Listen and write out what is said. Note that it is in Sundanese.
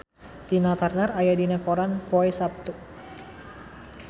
Tina Turner aya dina koran poe Saptu